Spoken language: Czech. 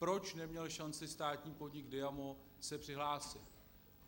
Proč neměl šanci státní podnik Diamo se přihlásit?